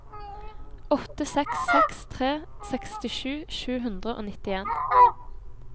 åtte seks seks tre sekstisju sju hundre og nittien